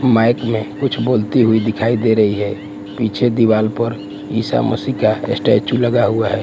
Mic मे कुछ बोलती हुई दिखाई दे रही है पीछे दीवाल पर ईसा मसीह का स्टेचू लगा हुआ है।